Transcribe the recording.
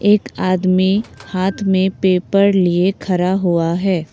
एक आदमी हाथ में पेपर लिए खड़ा हुआ है।